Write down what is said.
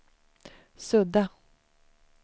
sudda